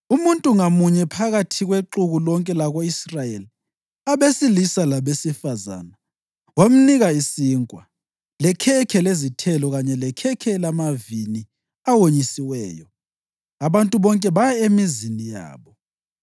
Umuntu ngamunye phakathi kwexuku lonke lako-Israyeli, abesilisa labesifazane, wamnika isinkwa, lekhekhe lezithelo kanye lekhekhe lamavini awonyisiweyo. Abantu bonke baya emizini yabo.